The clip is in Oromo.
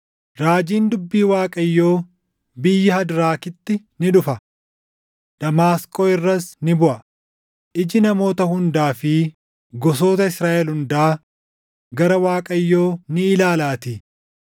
Raajiin dubbii Waaqayyoo biyya Hadraakitti ni dhufa; Damaasqoo irras ni buʼa; iji namoota hundaa fi gosoota Israaʼel hundaa gara Waaqayyo ni ilaalaatii;